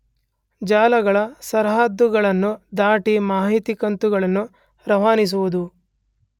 ಜಾಲಗಳ ಸರಹದ್ದುಗಳನ್ನು ದಾಟಿ ಮಾಹಿತಿ ಕಂತುಗಳನ್ನು ರವಾನಿಸುವುದು